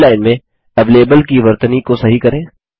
पहली लाइन में एवेलेबल की वर्तनी को सही करें